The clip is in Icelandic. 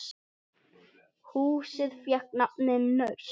Húsið fékk nafnið Naust.